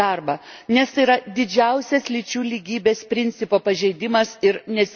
Nes tai yra didžiausias lyčių lygybės principo pažeidimas ir nesilaikymas.